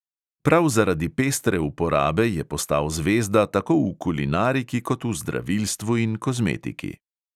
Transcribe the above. Prav zaradi pestre uporabe je postal zvezda tako v kulinariki kot v zdravilstvu in kozmetiki.